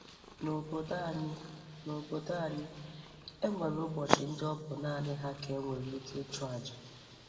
N'obodo anyị, N'obodo anyị, e nwere ụbọchị ndị ọbụ naanị ha ka e nwere ike ịchụ aja